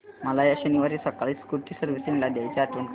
मला या शनिवारी सकाळी स्कूटी सर्व्हिसिंगला द्यायची आठवण कर